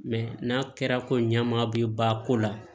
n'a kɛra ko ɲama bi ba ko la